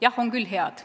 Jah, on küll head.